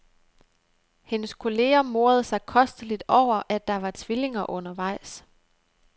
Hendes kolleger morede sig kosteligt over, at der var tvillinger undervejs.